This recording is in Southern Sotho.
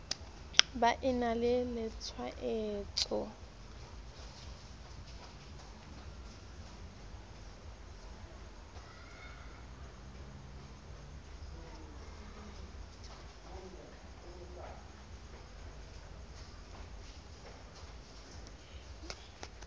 ba e na le tshwaetso